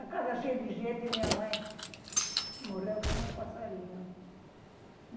A casa cheia de gente e minha mãe morreu que nem um passarinho.